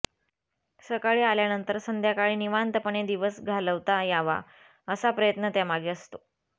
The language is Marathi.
सकाळी आल्यानंतर संध्याकाळी निवांतपणाने दिवस घालवता यावा असा प्रयत्न त्यामागे असतो